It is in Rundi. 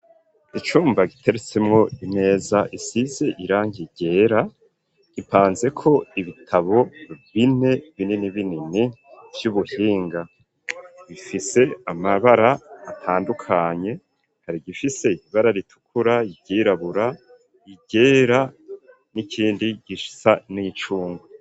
Icumba giteretsimwo imeza isise irangi ryera, gipanzeko ibitabo bine binini binini vy'ubuhinga bifise amabara atandukanye. Hari igifise ibara ritukura, iryirabura, iryera n'ikindi gisa n'incungwe.